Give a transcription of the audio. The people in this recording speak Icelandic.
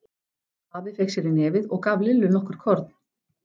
Afi fékk sér í nefið og gaf Lillu nokkur korn.